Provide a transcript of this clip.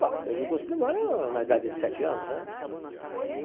Bom, desde o curso primário, na idade de sete anos, né? Tá.